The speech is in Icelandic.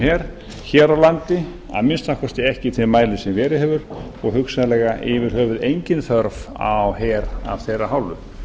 her hér á landi að minnsta kosti ekki í þeim mæli sem verið hefur og hugsanlega yfir höfuð engin þörf á her af þeirra hálfu